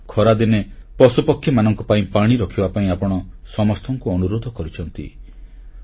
ଖରାଦିନେ ପଶୁପକ୍ଷୀମାନଙ୍କ ପାଇଁ ପାଣି ରଖିବା ପାଇଁ ଆପଣ ସମସ୍ତଙ୍କୁ ଅନୁରୋଧ କରିଛନ୍ତି